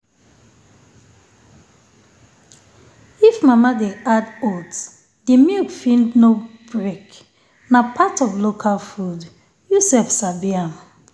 if mama dey add oats the milk fit no break. na part of local food… you sef sabi am.